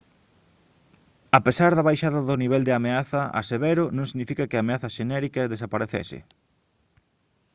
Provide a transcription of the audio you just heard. a pesar da baixada do nivel de ameaza a severo non significa que a ameaza xenérica desaparecese»